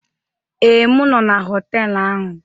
Ee, m nọ na họtelu ahu.